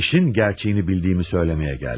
İşin gerçeğini bildiğimi söylemeye geldim.